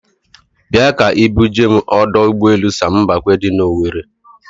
Bịa ka ị bu jee m ọdọ ụgbọelu Sam Mbakwe dị n'Owere.